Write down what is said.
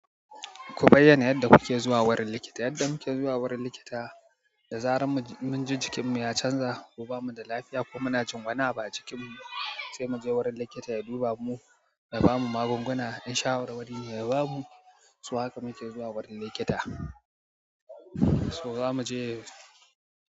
Ku bayyana yadda kuke zuwa wurin likita? Yadda muke zuwa wurin likita, da zaran mun ji jikin mu ya canza ko bamu da lafiya ko muna jin wani abu a jikin mu sai mu je wurin likita ya duba mu, ya ba mu magunguna yan shawarwari ya ba mu, so haka muke zuwa wurin likita. So zamu je.